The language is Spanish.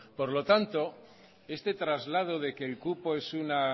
por lo tanto este traslado de que el cupo es una